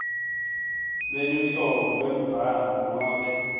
lweluhlobo lwembhalo nobe